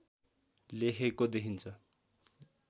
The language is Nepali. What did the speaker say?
लेखेको देखिन्छ